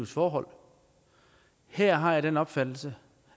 forhold her har jeg den opfattelse